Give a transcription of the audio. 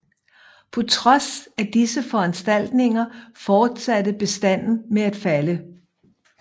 På trods af disse foranstaltninger fortsatte bestanden med at falde